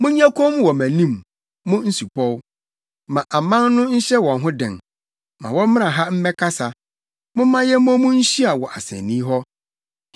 “Monyɛ komm wɔ mʼanim, mo nsupɔw! Ma aman no nhyɛ wɔn ho den! Ma wɔmmra ha mmɛkasa; momma yɛmmɔ mu nhyia wɔ asennii hɔ.